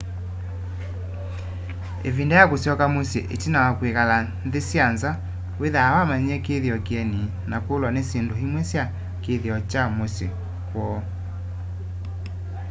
ivinda ya kusyoka musyi itina wa kkwikala nthi sya nza withaa wamanyie kithio kieni na kulwa ni syindu imwe sya kithio kya musyi kwoo